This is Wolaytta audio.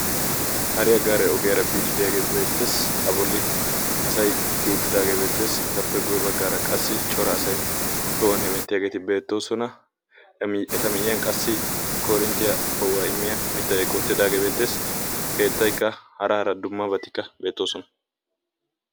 Hariyaa gaare ogiyaara biyage beettees. A bolli asay kiyi uttidage beettees. Apple guye baggaara qassi cora asay tohuwan hemmettidi diyageti beettoosona. Eta miyiyan qassi korinttiyaa poo'uwaa immiya mittay beettees. Keettaykka hara hara dummabatikka beettoosona.